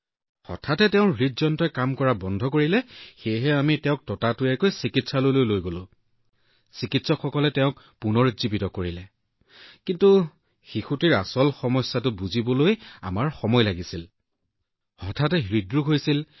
হঠাতে তাইৰ হৃদযন্ত্ৰই সম্পূৰ্ণৰূপে কাম কৰা বন্ধ কৰিলে সেয়েহে আমি সোনকালে তাইক চিকিৎসালয়লৈ লৈ গলো যত চিকিৎসকে তাইক পুনৰুজ্জীৱিত কৰিলে কিন্তু তাইৰ কি সমস্যা হৈছে বুজিবলৈ সময় লাগিছিল ইমান ডাঙৰ সমস্যা এটা সৰু শিশু আৰু হঠাতে হৃদ আক্ৰমণ